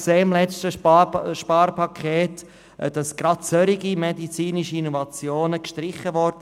Wir haben beim letzten Sparpaket gesehen, dass gerade solche medizinischen Innovationen gestrichen wurden.